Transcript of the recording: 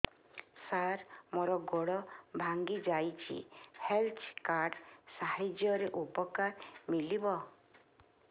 ସାର ମୋର ଗୋଡ଼ ଭାଙ୍ଗି ଯାଇଛି ହେଲ୍ଥ କାର୍ଡ ସାହାଯ୍ୟରେ ଉପକାର ମିଳିବ